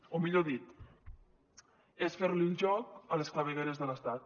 o millor dit és fer li el joc a les clavegueres de l’estat